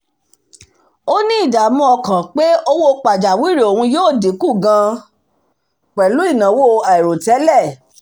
ó ní ìdààmú ọkàn pé owó pajáwìrì òun yóò dínkù gan-an pẹ̀lú ìnáwó àìròtẹ́lẹ̀